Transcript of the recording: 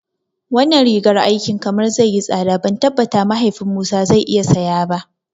Wannan rigar aikin kamar zai yi tsada ban tabbata mahaifin Musa zai iya saya ba